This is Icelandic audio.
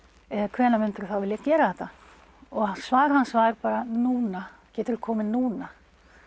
hvenær myndirðu þá vilja gera þetta og svarið hans var bara núna geturðu komið núna